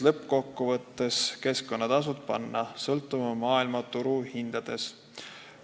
Lõppkokkuvõttes tahetakse keskkonnatasud panna sõltuma maailmaturu hindadest.